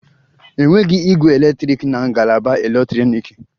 Enweghị ígwè eletrik na ngalaba eletrọniki